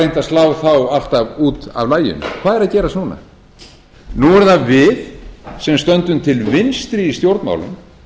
að slá þá alltaf út af laginu hvað er að gerast núna nú erum það við sem stöndum til vinstri í stjórnmálum